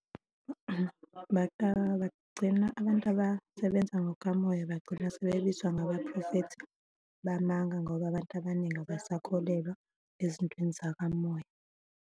bagcina abantu abasebenza ngokukamoya, bagcina sebebizwa ngabaphrofethi bamanga ngoba abantu abaningi abasakholelwa ezintweni zakamoya.